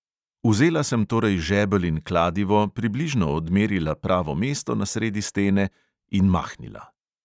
Vzela sem torej žebelj in kladivo, približno odmerila pravo mesto na sredi stene – in mahnila.